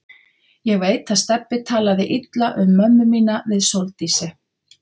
Ég veit að Stebbi talaði illa um mömmu mína við Sóldísi.